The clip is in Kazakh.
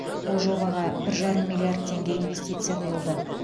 бұл жобаға бір жарым миллиард теңге инвестиция құйылды